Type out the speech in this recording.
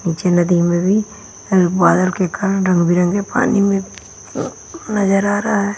नीचे नदी में भी एल बादल के कारण रंग बिरंगे पानी में अ नजर आ रहा है।